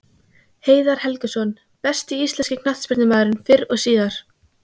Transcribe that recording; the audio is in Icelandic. Heiðar Helguson Besti íslenski knattspyrnumaðurinn fyrr og síðar?